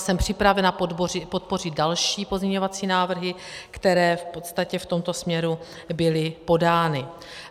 Jsem připravena podpořit další pozměňovací návrhy, které v podstatě v tomto směru byly podány.